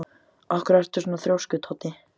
Af hverju ertu svona þrjóskur, Toddi?